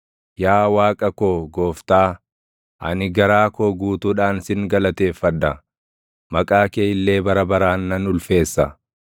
Yaa Waaqa koo Gooftaa, ani garaa koo guutuudhaan sin galateeffadha; maqaa kee illee bara baraan nan ulfeessa.